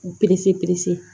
K'u